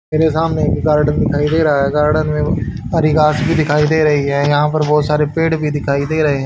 मेरे सामने एक गार्डन दिखाई दे रहा है गार्डन में हरी घास भी दिखाई दे रही है यहां पर बहुत सारे पेड़ भी दिखाई दे रहे --